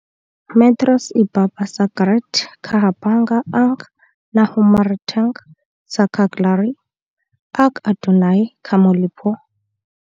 metros ibabaw sa dagat kahaboga ang nahimutangan sa Cagliari, ug adunay ka molupyo.